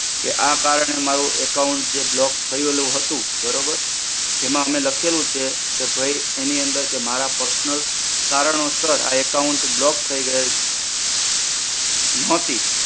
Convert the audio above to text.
કે, આ કારણે મારુ account જે block થયેલું હતું બરોબર. એમાં અમે લખેલું છે કે ભઈ એની અંદર કે મારા personal કારણોસર આ account block થઈ ગયેલ. નોતી